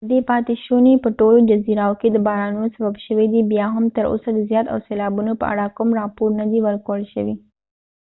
ددې پاتی شونی په ټولو جزایرو کې د بارانونو سبب شوي دي بیا هم تر اوسه د زیان او سیلابونو په اړه کوم راپور نه دي ور کړل شوي